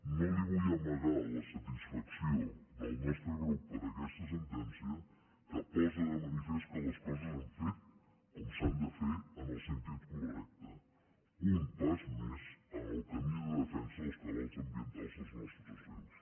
no li vull amagar la satisfacció del nostre grup per aquesta sentència que posa de manifest que les coses s’han fet com s’han de fer en el sentit correcte un pas més en el camí de defensa dels cabals ambientals dels nostres rius